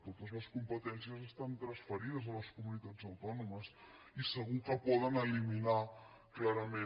totes les competències estan transferides a les comunitats autònomes i segur que poden eliminar clarament